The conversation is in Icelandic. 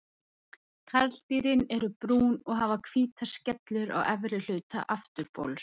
Karldýrin eru brún og hafa hvítar skellur á efri hluta afturbols.